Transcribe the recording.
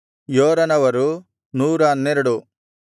ಯೋರನವರು 112